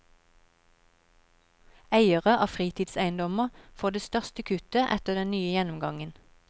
Eiere av fritidseiendommer får det største kuttet etter den nye gjennomgangen.